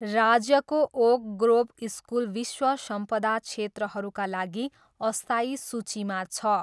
राज्यको Oak Grove School विश्व सम्पदा क्षेत्रहरूका लागि अस्थायी सूचीमा छ।